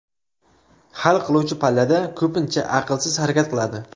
Hal qiluvchi pallada ko‘pincha aqlsiz harakat qiladi.